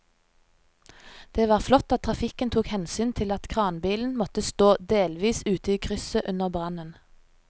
Det var flott at trafikken tok hensyn til at kranbilen måtte stå delvis ute i krysset under brannen.